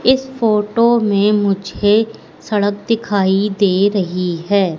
इस फोटो में मुझे सड़क दिखाई दे रही है।